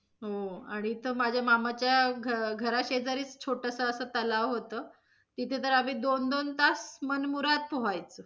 हो, आणि इथ माझ्या मामाच्या घरा शेजारी छोटासा असा तलाव होतं तिथे तर आम्ही दोन दोन तास मनमुराद पोहायचो.